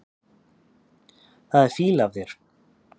Það er fýla af þér.